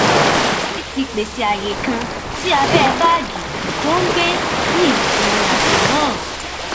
kingsley ti pèsè ààyè kan sí abẹ báàgì tó ń gbé yinirinàjọ náà